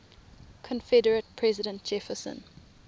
confederate president jefferson